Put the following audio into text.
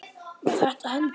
Var þetta hendi?